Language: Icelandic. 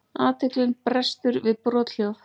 Athyglin brestur við brothljóð.